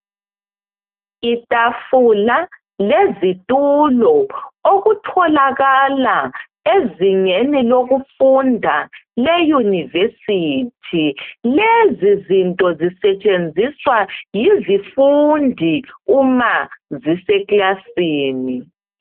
Itafula lezitulo okutholakala ezingeni lokufunda le euniversity lezi zinto zisetshenziswa yizifundi uma ziseclasini.